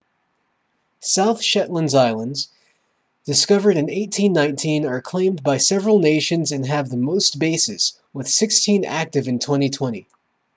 south shetland islands discovered in 1819 are claimed by several nations and have the most bases with sixteen active in 2020